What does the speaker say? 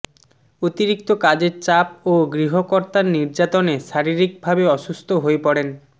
অতিরিক্ত কাজের চাপ ও গৃহকর্তার নির্যাতনে শারীরিকভাবে অসুস্থ হয়ে পড়েন